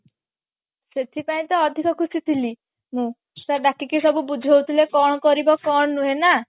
ସେଠି ପାଇଁ ତ ଅଧିକ ଖୁସି ଥିଲି ମୁଁ sir ଡାକିକି ସବୁ ବୁଝୋଉ ଥିଲେ କଣ କରିବ କଣ ନୁହେଁ ନା